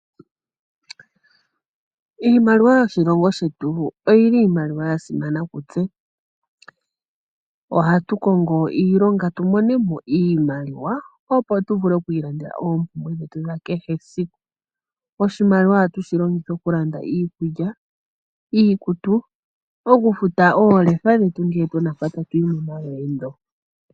Iimaliwa yoshilongo shetu oyili iimaliwa yasimana kutse. Ohatu kongo iilonga tu mone iimaliwa, opo twiilandele oompumbwe dha kehe esiku. Oshimaliwa ohatu shi longitha okulanda iikulya, iikutu nokufuta oolefa dhetu ngele tuna mpa tatuyi.